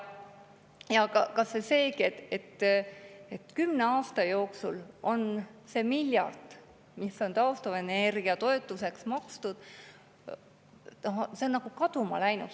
Kas või seetõttu, et kümne aasta jooksul on see miljard, mis on taastuvenergia toetuseks makstud, nagu kaduma läinud.